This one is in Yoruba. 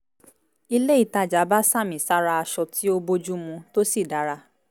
ilé ìtajà bá sàmì sára aṣọ tí ó bójú mu tó sì dára